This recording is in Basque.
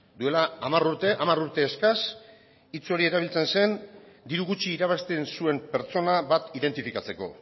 duela hamar urte hamar urte eskas hitz hori erabiltzen zen diru gutxi irabazten zuen pertsona bat identifikatzeko